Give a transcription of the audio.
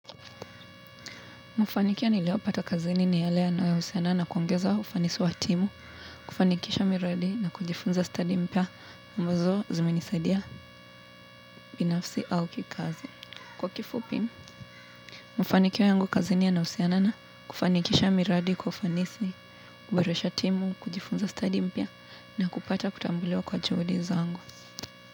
Mafanikio niliyopata kazini ni yale yanayohusiana na kuongeza ufanisi wa timu, kufanikisha miradi na kujifunza stadi mpya ambazo zimenisaidia binafsi au kikazi. Kwa kifupi, mafanikio yangu kazini yanahusiana na kufanikisha miradi kwa ufanisi, kuboresha timu, kujifunza stadi mpya na kupata kutambuliwa kwa juhudi zangu.